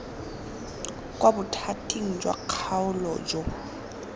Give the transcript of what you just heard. kwa bothating jwa kgaolo jo